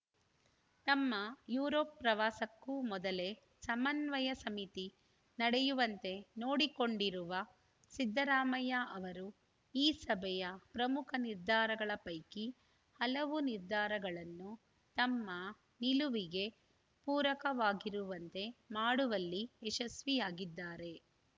ತಮ್ಮ ಯುರೋಪ್‌ ಪ್ರವಾಸಕ್ಕೂ ಮೊದಲೇ ಸಮನ್ವಯ ಸಮಿತಿ ನಡೆಯುವಂತೆ ನೋಡಿಕೊಂಡಿರುವ ಸಿದ್ದರಾಮಯ್ಯ ಅವರು ಈ ಸಭೆಯ ಪ್ರಮುಖ ನಿರ್ಧಾರಗಳ ಪೈಕಿ ಹಲವು ನಿರ್ಧಾರಗಳನ್ನು ತಮ್ಮ ನಿಲುವಿಗೆ ಪೂರಕವಾಗಿರುವಂತೆ ಮಾಡುವಲ್ಲಿ ಯಶಸ್ವಿಯಾಗಿದ್ದಾರೆ